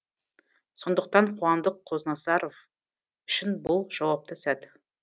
сондықтан қуандық қознасаров үшін бұл жауапты сәт